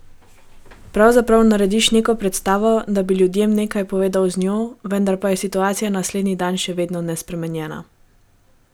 Pravzaprav narediš neko predstavo, da bi ljudem nekaj povedal z njo, vendar pa je situacija naslednji dan še vedno nespremenjena.